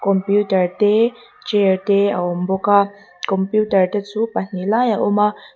computer te chair te a awm bawk a computer te chu pahnih lai a awm a.